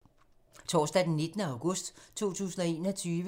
Torsdag d. 19. august 2021